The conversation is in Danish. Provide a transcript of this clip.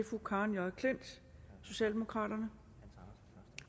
fru karen j klint socialdemokraterne nej